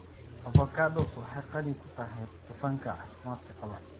Avocados waxay qani ku tahay dufanka caafimaadka qaba.